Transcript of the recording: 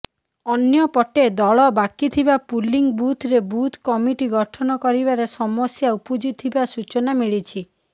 ଅନ୍ୟପଟେ ଦଳ ବାକିଥିବା ପୁଲିଙ୍ଗ ବୁଥରେ ବୁଥ କମିଟି ଗଠନ କରିବାରେ ସମସ୍ୟା ଉପୁଜିଥିବା ସୁଚନା ମିଳିଛି